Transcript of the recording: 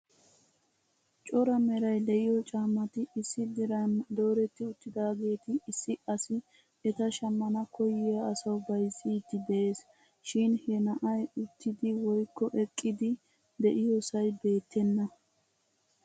Coray meray de'iyo caammati issi diran dooreti uttidaageeta issi asi eta shammana koyyiya asaw bayzzidi de'ees. Shin he na'ay uttidi woykko eqqidi de'iyoosay beettena.